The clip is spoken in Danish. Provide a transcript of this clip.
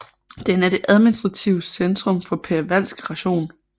Den er det administrative centrum for Perevalsk rajon